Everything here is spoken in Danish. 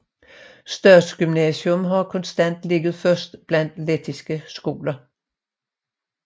Statsgymnasium har konstant ligget først blandt lettiske skoler